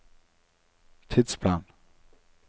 tidsplan